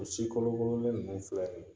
U si kolokololen ninnu filɛ nin ye.